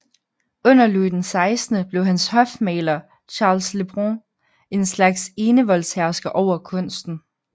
Under Louis XIV blev hans hofmaler Charles Le Brun en slags enevoldshersker over kunsten